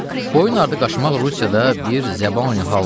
Boyun ardı qaçmaq Rusiyada bir zəbani haldır.